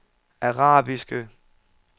arabiske